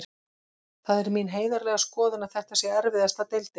Það er mín heiðarlega skoðun að þetta sé erfiðasta deildin.